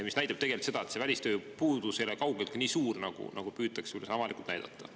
See tegelikult näitab seda, et see välistööjõu puudus ei ole kaugeltki nii suur, nagu püütakse avalikult näidata.